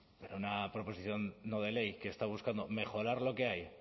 pero una proposición no de ley que está buscando mejorar lo que hay